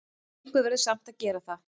Einhver verður samt að gera það!